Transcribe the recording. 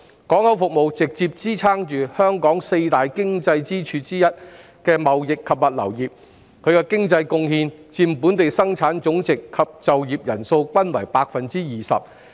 港口服務直接支撐香港四大經濟支柱之一的貿易及物流業，其經濟貢獻佔本地生產總值及就業人數均為 20%。